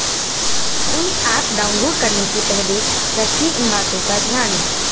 कोई app download करने से पहले रखें इन बातों का ध्यान